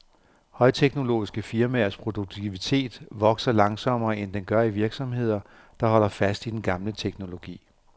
Højteknologiske firmaers produktivitet vokser langsommere, end den gør i virksomheder, der holder fast i den gamle teknologi.